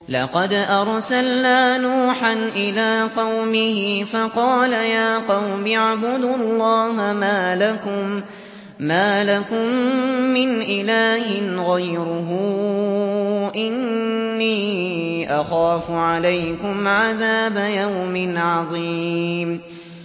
لَقَدْ أَرْسَلْنَا نُوحًا إِلَىٰ قَوْمِهِ فَقَالَ يَا قَوْمِ اعْبُدُوا اللَّهَ مَا لَكُم مِّنْ إِلَٰهٍ غَيْرُهُ إِنِّي أَخَافُ عَلَيْكُمْ عَذَابَ يَوْمٍ عَظِيمٍ